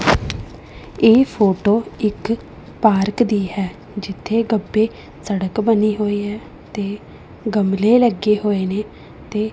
ਇਹ ਫੋਟੋ ਇੱਕ ਪਾਰਕ ਦੀ ਹੈ ਜਿੱਥੇ ਗ਼ੱਬੇ ਸੜਕ ਬਣੀ ਹੋਇਆ ਤੇ ਗਮਲੇ ਲੱਗੇ ਹੋਏ ਨੇਂ ਤੇ--